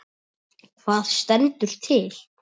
Hvað stendur til?